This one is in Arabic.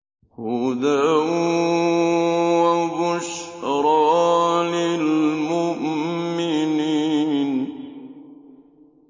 هُدًى وَبُشْرَىٰ لِلْمُؤْمِنِينَ